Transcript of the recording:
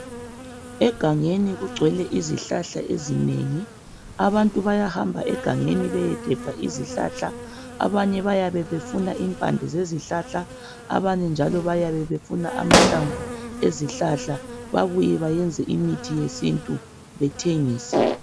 Egangeni kugcwele izihlahla ezinengi abantu bayahamba egangeni beyegebha izihlahla abanye bayabe befuna impande zezihlahla abanye njalo bayabe befuna amahlamvu ezihlahla babuye bayenze imithi yesintu bethengise